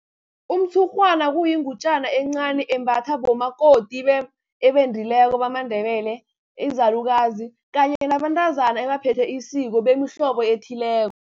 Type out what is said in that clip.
Umtshurhwana kuyingutjana encani, embathwa bomakoti ebendileko bamaNdebele, izalukazi kanye nabantazana abaphethe isiko, bemihlobo ethileko.